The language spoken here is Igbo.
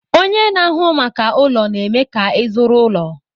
Ọnye na-ahụ maka ụlọ na-eme ka ịzụrụ ụlọ.